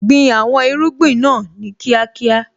Gbin àwọn irúgbìn náà ní kíákíá.